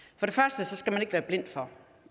man skal ikke være blind for